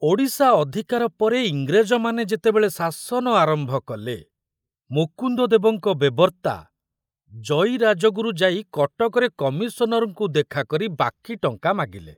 ଓଡ଼ିଶା ଅଧିକାର ପରେ ଇଂରେଜମାନେ ଯେତେବେଳେ ଶାସନ ଆରମ୍ଭ କଲେ, ମୁକୁନ୍ଦଦେବଙ୍କ ବେବର୍ଷା ଜୟୀ ରାଜଗୁରୁ ଯାଇ କଟକରେ କମିଶନରଙ୍କୁ ଦେଖାକରି ବାକି ଟଙ୍କା ମାଗିଲେ।